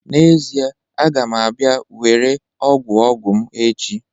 N'ezie, a ga m abia were ogwu ogwu m echi